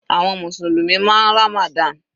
Àwọn mùsùlùmí máa ń Ramadan.